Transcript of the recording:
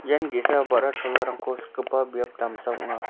ian ge·sa ba·ra cholarangko sikgipa biap damsa ong·a.